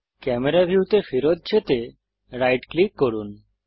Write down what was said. camera ভিউতে ফেরত যেতে রাইট ক্লিক করুন